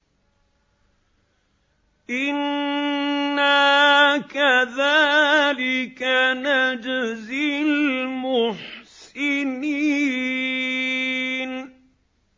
إِنَّا كَذَٰلِكَ نَجْزِي الْمُحْسِنِينَ